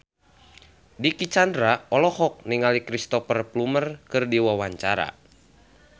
Dicky Chandra olohok ningali Cristhoper Plumer keur diwawancara